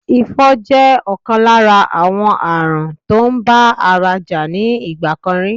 Ifo jẹ́ ọ̀kan lára àwọn àrùn tó ń bá ara jà ní ìgbà kan rí